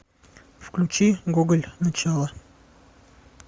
включи гоголь начало